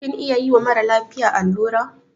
Kin iya yiwa mara lafiya allura?